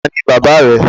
Ta ni baba rẹ?